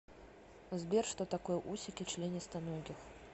сбер что такое усики членистоногих